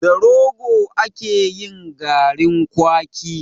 Da Rogo ake yin garin kwaki.